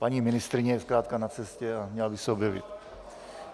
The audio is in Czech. Paní ministryně je zkrátka na cestě a měla by se objevit.